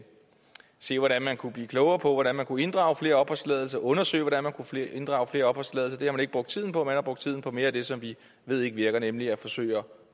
se hvordan man kunne blive klogere på hvordan man kunne inddrage flere opholdstilladelser og undersøge hvordan man kunne inddrage flere opholdstilladelser det har man ikke brugt tiden på man har brugt tiden på mere af det som vi ved ikke virker nemlig at forsøge at